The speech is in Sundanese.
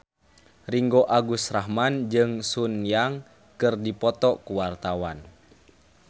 Ringgo Agus Rahman jeung Sun Yang keur dipoto ku wartawan